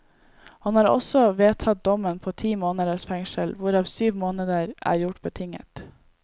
Han har også vedtatt dommen på ti måneders fengsel, hvorav syv måneder er gjort betinget.